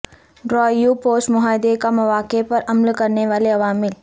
drive post معاہدے کا مواقع پر عمل کرنے والے عوامل